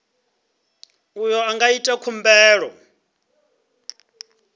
uyo a nga ita khumbelo